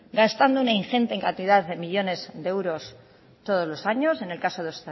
gastando una ingente cantidad de millónes de euros todos los años en el caso de